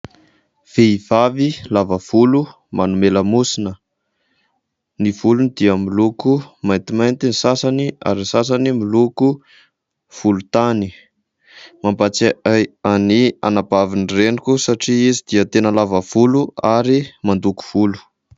VEhivavy lava volo manole lamosina. Ny volony dia miloko maintimainty ny sasany ary ny sasany miloko volontany. Mampatsiahy ahy an'ny anabavin-dreniko satria izy dia tena lava volo ary mandoko volo.